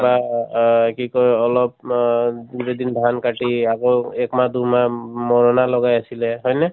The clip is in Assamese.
কিবা আ কি কয় অলপ আ দুদিন ধান কাটি আকৌ এক মাহ দুমাহ মৰণা লগাই আছিলে, হয় নে ?